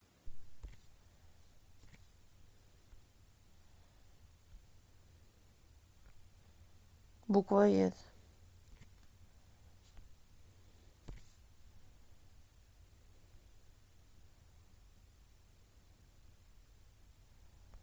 буквоед